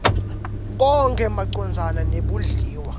konkhe macondzana nebondliwa